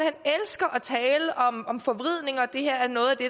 elsker at tale om om forvridning og det her er noget af det